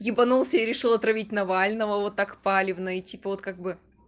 ебонулся и решил отравить навального вот так открыто типа вот как бы